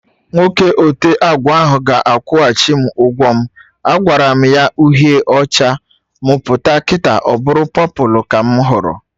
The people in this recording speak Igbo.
Nwoke ote agba ahụ ga-akwuchim ụgwọ m! Agwaram ya uhie ọcha, m pụta kịta ọbụrụ pọpụlụ ka mụ hụrụ